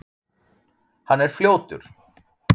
Hann er fljótur.